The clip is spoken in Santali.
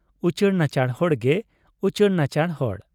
ᱩᱪᱟᱹᱲ ᱱᱟᱪᱟᱲ ᱦᱚᱲ ᱜᱮ ᱩᱪᱟᱹᱲ ᱱᱟᱪᱟᱲ ᱦᱚᱲ ᱾